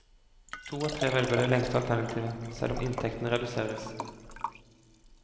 To av tre velger det lengste alternativet, selv om inntektene reduseres.